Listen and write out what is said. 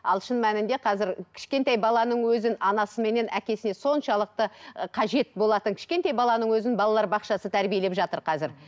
ал шын мәніде қазір кішкентай баланың өзін анасы менен әкесіне соншалықты ы қажет болатын кішкентай баланың өзін балалар бақшасы тәрбиелеп жатыр қазір